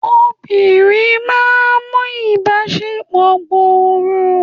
obìnrin ma n mu ibaṣepọ gbòrò